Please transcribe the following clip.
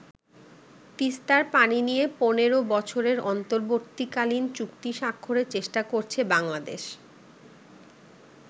তিস্তার পানি নিয়ে পনেরো বছরের অন্তর্বর্তীকালীন চুক্তি স্বাক্ষরের চেষ্টা করছে বাংলাদেশ।